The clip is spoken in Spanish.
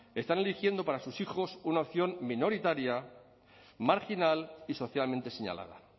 están eligiendo para sus hijos una opción minoritaria marginal y socialmente señalada